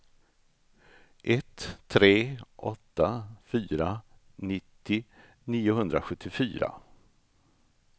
ett tre åtta fyra nittio niohundrasjuttiofyra